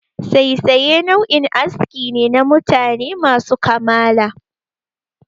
Saisaye nau'in aski ne na mutane masu kamala.